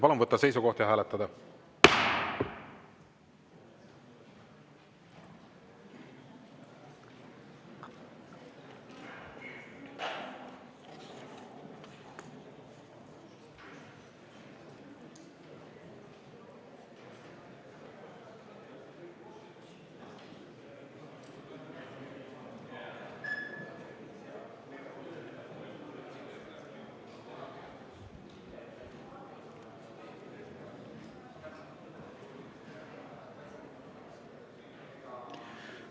Palun võtta seisukoht ja hääletada!